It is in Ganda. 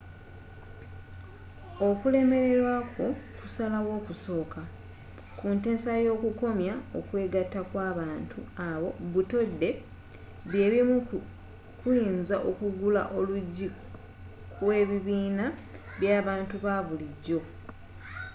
okulemelerwa kwo kusalawo okusooka kunteesa yo okukomya okwegatta kw'abantu abo butode byebumu kuyinza okugula oluggi kw'ebibiina by'abantu babulijo